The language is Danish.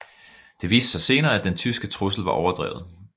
Det viste sig senere at den tyske trussel var overdrevet